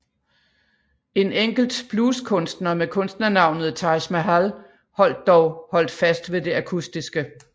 En enkelt blueskunstner med kunstnernavnet Taj Mahal holdt dog holdt fast ved det akustiske